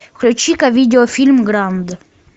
включи ка видеофильм гранд